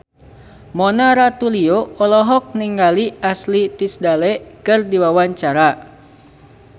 Mona Ratuliu olohok ningali Ashley Tisdale keur diwawancara